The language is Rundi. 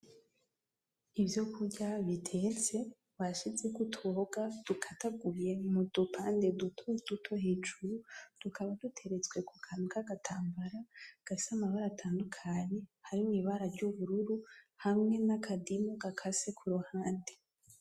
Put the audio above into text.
Ivyokurya bitetse bashizeko utuboga dukataguye mu dupande dutoduto hejuru. Tukaba duteretse ku kantu k'agatambara gafise amabara atandukanye harimwo ibara ry'ubururu, hamwe n'akadimu gakase ku ruhande.